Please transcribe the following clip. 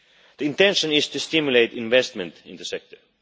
The intention is to stimulate investment in the sector.